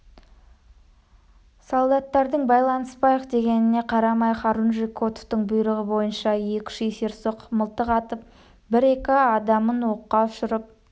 солдаттардың байланыспайық дегеніне қарамай хорунжий котовтың бұйрығы бойынша екі-үш есерсоқ мылтық атып бір-екі адамын оққа ұшырып